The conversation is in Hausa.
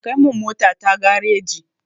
Kai min motata gareji.